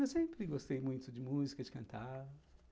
Eu sempre gostei muito de música, de cantar...